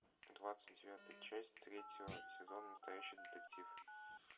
двадцать девятая часть третьего сезона настоящий детектив